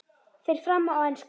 Fer fram á ensku.